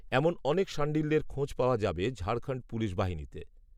এমন অনেক শাণ্ডিল্যের খোঁজ পাওয়া যাবে ঝাড়খণ্ড পুলিশ বাহিনীতে